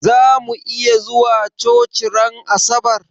Zamu iya zuwa coci ran asabar?